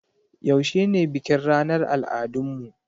Yaushe ne bikin ranar al'adun mu?